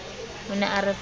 o ne a re file